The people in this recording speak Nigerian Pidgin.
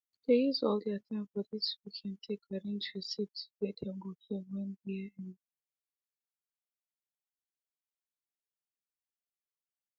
they use al their time for this weekend take arrange receipts way them go fill when year end